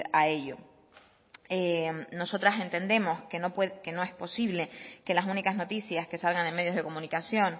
a ello nosotras entendemos que no es posible que las únicas noticias que salgan en medios de comunicación